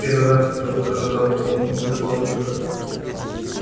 в первый раз за утро набрал полную грудь воздуха